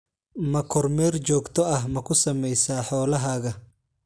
Ma kormeer joogto ah ma ku samaysaa xoolahaaga?